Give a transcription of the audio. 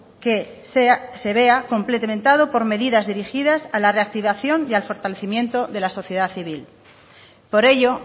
que se vea complementado con medidas dirigidas a la reactivación y al fortalecimiento de la sociedad civil por ello